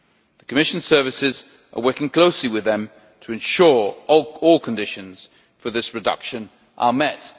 The Commission services are working closely with them to ensure all conditions for this reduction are met.